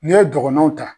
N'i ye dɔgɔnɔw ta